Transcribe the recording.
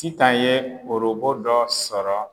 Sitan ye orobo dɔ sɔrɔ